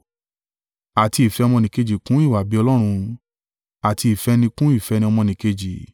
Àti ìfẹ́ ọmọnìkejì kún ìwà-bí-Ọlọ́run; àti ìfẹ́ni kún ìfẹ́ ọmọnìkejì.